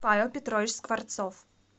павел петрович скворцов